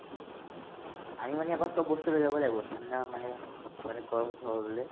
আমি মানে ইয়াৰ পৰা চব বস্তু লৈ যাব লাগিব ঠাণ্ডা মানে মানে গৰম উঠিবলে